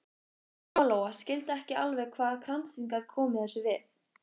Lóa Lóa skildi ekki alveg hvað kransinn gat komið þessu við.